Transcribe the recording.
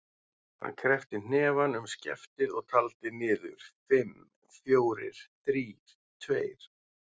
Hann kreppti hnefann um skeftið og taldi niður: fimm, fjórir, þrír, tveir.